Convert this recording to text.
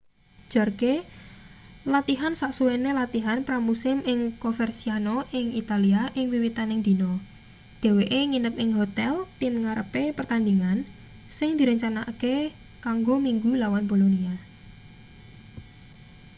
jarque latihan sasuwene latihan pra-musim ing coverciano ing italia ing wiwitaning dina dheweke nginep ing hotel tim ngarepe pertandhingan sing direncanakake kanggo minggu lawan bolonia